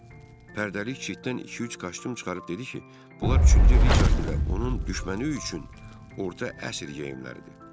O pərdəlik cütdən iki-üç kostyum çıxarıb dedi ki, bunlar üçüncü Riçard ilə onun düşməni üçün orta əsr geyimləridir.